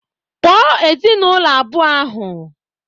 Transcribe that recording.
Kpoo ezinaụlọ abụọ ahụ!